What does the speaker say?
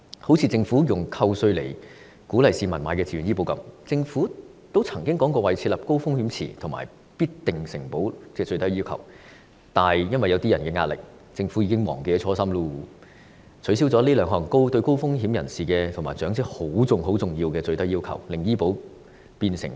正如政府以扣稅鼓勵市民購買的自願醫保，政府曾經說過會設立高風險池及規定"必定承保"的最低要求，但最後由於某些人施加壓力，政府現時已經忘記初心，取消了這兩項對高風險人士和長者很重要的最低要求，令自願醫保變成雞肋。